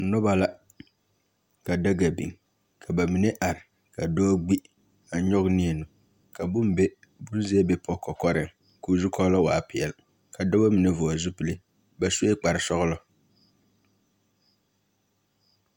Noba la, ka daga biŋ ka ba mine are ka dɔɔ gbi a nyɔge neɛ nu, Ka bone be buzeɛ bipɔge kɔkɔreŋ, koo zukɔɔloŋ waa peɛl, ka dɔba mine vɔgele zupilli, ba sue kpar sɔglɔ.